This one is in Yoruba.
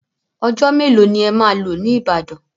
Ọjọ́ mélòó ni ẹ máa lò ní Ìbàdàn?